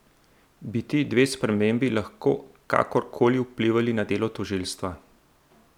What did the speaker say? Bi ti dve spremembi lahko kakor koli vplivali na delo tožilstva?